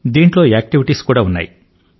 దీంట్లో యాక్టివిటీస్ ఉన్నాయి